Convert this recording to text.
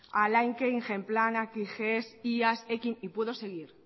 alaike ingeplan kies iaz ekin y puedo seguir